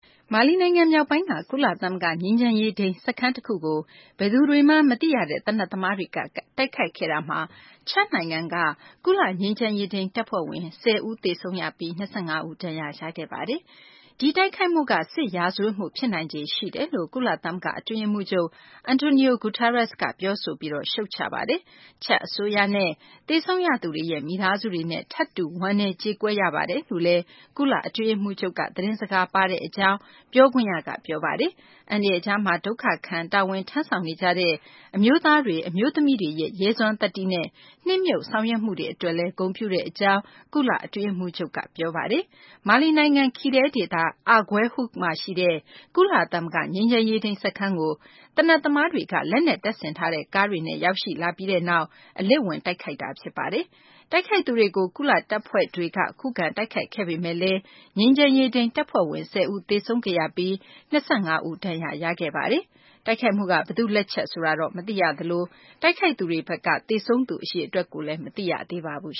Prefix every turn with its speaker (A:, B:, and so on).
A: မာလီနိုင်ငံ မြောက်ပိုင်းက ကုလသမဂ္ဂ ငြိမ်းချမ်းရေးထိန်း စခန်းတခုကို ဘယ်သူတွေမှန်း မသိရတဲ့ သေနတ်သမားတွေက တိုက်ခိုက်ခဲ့တာမှာ ချဒ်နိုင်ငံက ကုလ ငြိမ်းချမ်းရေးထိန်း တပ်ဖွဲ့ဝင် ၁၀ ဦး သေဆုံးပြီး ၂၅ ဦး ဒဏ်ရာရခဲ့ပါတယ်။ ဒီတိုက်ခိုက်မှုက စစ်ရာဇဝတ်မှု ဖြစ်နိုင်ခြေ ရှိတယ်လို့ ကုလသမဂ္ဂ အတွင်းရေးမှူးချုပ် Antonio Guterres က ပြောဆိုပြီး ရှုတ်ချပါတယ်။ ချဒ် အစိုးရနဲ့ သေဆုံးရသူတွေရဲ့ မိသားစုတွေနဲ့ ထပ်တူ ဝမ်းနည်းကြေကွဲရပါကြောင်း ကုလအတွင်းရေးမှူးချုပ် Guterres က သတင်းစကား ပြောဆိုတဲ့ အကြောင်း ပြောခွင့်ရက ပြောပါတယ်။ အန္တရာယ်ကြားမှာ ဒုက္ခခံပြီး တာဝန်ထမ်းဆောင်နေကြတဲ့ အမျိုးသားတွေ အမျိုးသမီးတွေရဲ့ ရဲစွမ်းသတ္တိနဲ့ နှစ်မြုပ် ဆောင်ရွက်မှုတွေ အတွက်လည်း ဂုဏ်ပြုတဲ့ အကြောင်း ကုလ အတွင်းရေးမှူးချုပ်က ပြောဆိုခဲ့ပါတယ်။ မာလီနိုင်ငံ Kidal ဒေသက Aguelhok မှာ ရှိတဲ့ ကုလသမဂ္ဂ ငြိမ်းချမ်းရေးထိန်း စခန်းကို သေနတ်သမားတွေက လက်နက်တပ်ဆင်ထားတဲ့ ကားတွေနဲ့ ရောက်ရှိလာပြီးနောက် အလစ်ဝင် တိုက်ခိုက်ခဲ့တာ ဖြစ်ပါတယ်။ တိုက်ခိုက်သူတွေကို ကုလ တပ်ဖွဲ့တွေက ခုခံတိုက်ခိုက်ခဲ့ပေမယ့်လည်း ငြိမ်းချမ်းရေးထိန်း တပ်ဖွဲ့ဝင် ၁၀ ဦး သေဆုံးခဲ့ရပြီး ၂၅ ဦး ဒဏ်ရာရခဲ့ပါတယ်။ တိုက်ခိုက်မှုက ဘယ်သူ့လက်ချက် ဆိုတာ မသိရသလို တိုက်ခိုက်ခဲ့သူတွေဘက်က သေဆုံးသူ အရေအတွက်ကိုလည်း မသိရပါဘူး